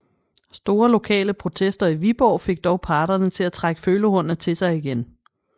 Store lokale protester i Viborg fik dog parterne til at trække følehornene til sig igen